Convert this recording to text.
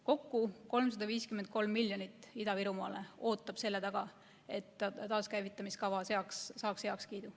Kokku 353 miljoni suunamine Ida-Virumaale ootab selle taga, et taaskäivitamise kava saaks heakskiidu.